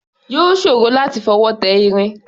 Yóò ṣòro láti fọwọ́ tẹ irin.